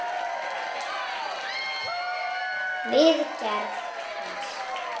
við gerð hans.